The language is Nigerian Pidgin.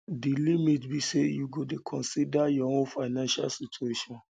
di limit be say you go dey consider your own financial situation